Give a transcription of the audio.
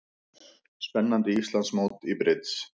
Spennandi Íslandsmót í brids